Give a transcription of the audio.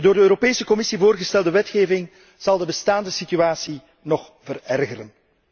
De door de Europese Commissie voorgestelde wetgeving zal de bestaande situatie nog verergeren.